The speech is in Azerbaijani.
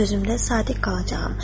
Sözümdə sadiq qalacağam.